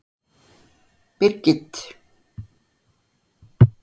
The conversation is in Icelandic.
Birgit